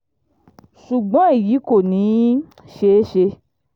ṣùgbọ́n èyí kò ní í ṣeé ṣe